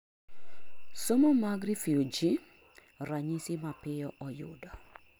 somo mag refugee: ranyisi mapiyo oyudo